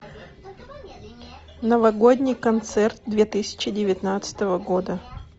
новогодний концерт две тысячи девятнадцатого года